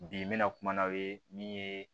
Bi n bɛna kuma n'aw ye min ye